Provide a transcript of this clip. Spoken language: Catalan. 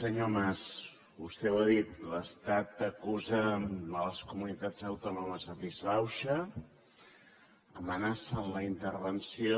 senyor mas vostè ho ha dit l’estat acusa les comunitats autònomes de disbauxa amenaça amb la intervenció